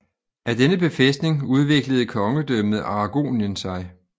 Af denne befæstning udviklede kongedømmet Aragonien sig